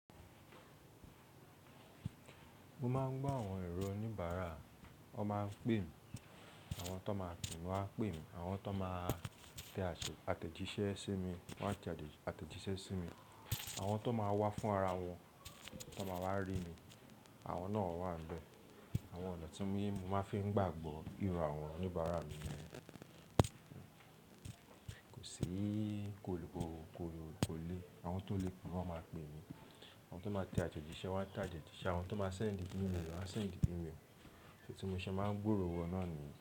Mo máa ń gbọ́ àwọn èrò oníbàárà, wọ́n máa ń pè mí, àwọn tó máa pè mí wá pè mí, àwọn tó máa tẹ ase àtẹ̀jíṣẹ́ sí mi wọ́n a tẹ ate àtẹ̀jíṣẹ́ sí mi, àwọn tó máa wá fún ara wọn tón máa wá rí mi, àwọn náà wà níbẹ̀. Àwọn ọ̀nà tí mim mo máa ń fi gbàgbọ́ ìru àwọn oníbàárà mi ni, kò sí, kò lè, àwọn tó lè pè wọ́n máa pè mí, àwọn tó máa tẹ àtẹ̀jíṣẹ́ wọ́n a tẹ àtẹ̀jíṣẹ́, àwọn tó máa sèndi email wọ́n a sèndí email. Ti tí mo ṣe máa ń gbòòrò wọn náà nìyẹn.